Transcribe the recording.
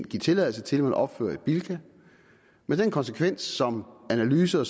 give tilladelse til at man opførte et bilka med den konsekvens som analyser